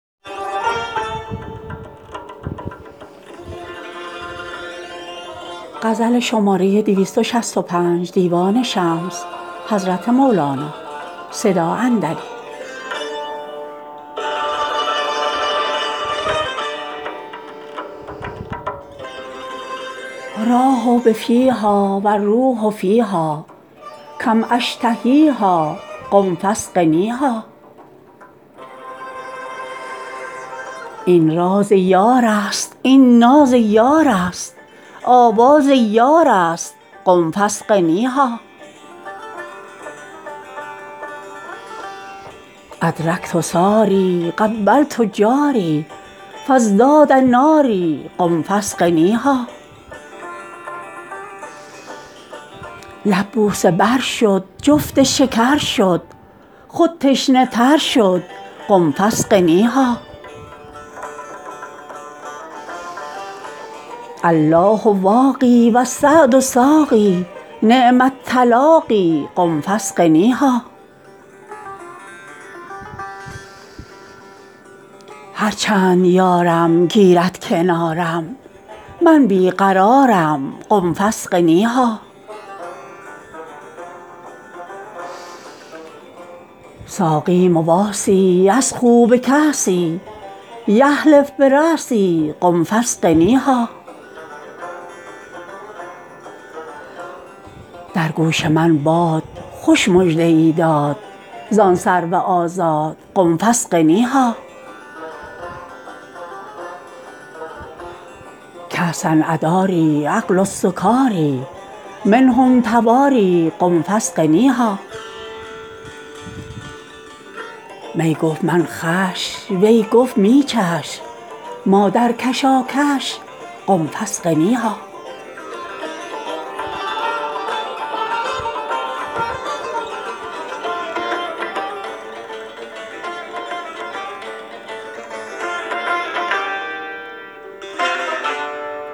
راح بفیها و الروح فیها کم أشتهیها قم فاسقنیها این راز یارست این ناز یارست آواز یارست قم فاسقنیها أدرکت ثاری قبلت جاری فازداد ناری قم فاسقنیها لب بوسه بر شد جفت شکر شد خود تشنه تر شد قم فاسقنیها الله واقی و السعد ساقی نعم التلاقی قم فاسقنیها هر چند یارم گیرد کنارم من بی قرارم قم فاسقنیها ساقی مواسی یسخوا بکاسی یحلف براسی قم فاسقنیها در گوش من باد خوش مژده ای داد زان سرو آزاد قم فاسقنیها کأسا اداری عقل السکاری منهم تواری قم فاسقنیها می گفت من خوش وی گفت می چش ما در کشاکش قم فاسقنیها